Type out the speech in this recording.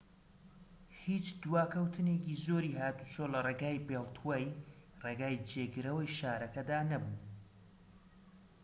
هیچ دواکەوتنێکی زۆری هاتوچۆ لە ڕێگای بێڵتوەی ڕێگای جێگرەوەی شارەکەدا نەبوو